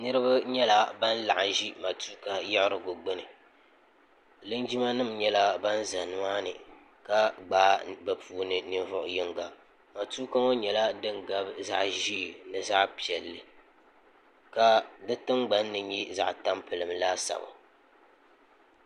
niraba nyɛla ban laɣam ʒi matuuka yiɣurigu gbuni linjima nim nyɛla ban ʒi di gbuni ka gbaai bi puuni yino matuuka ŋo nyɛla din gabi zaɣ ʒiɛ ni zaɣ piɛlli ka di tingbanni nyɛ zaɣ tampilim laasabu